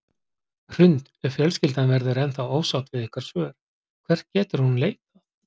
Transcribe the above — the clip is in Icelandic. Hrund: Ef fjölskyldan verður ennþá ósátt við ykkar svör, hvert getur hún leitað?